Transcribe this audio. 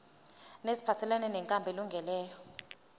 neziphathelene nenkambo elungileyo